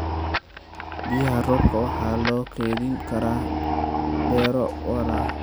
Biyaha roobka waxa loo kaydin karaa beero waara.